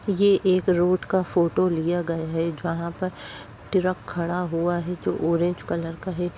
ये एक रोड का फोटो लिया गया है जहाँ पर ट्रक खड़ा हुआ है। जो ऑरेंज कलर का है।